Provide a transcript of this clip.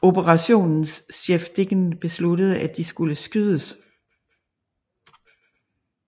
Operationens chef Dieken besluttede at de skulle skydes